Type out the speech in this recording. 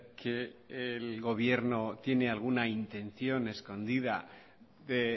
que el gobierno tiene alguna intención escondida de